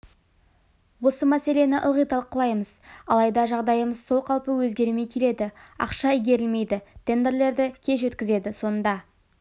осы мәселені ылғи талқылаймыз алайда жағдайымыз сол қалпы өзгермей келеді ақша игерілмейді тендерлерді кеш өткізеді сонда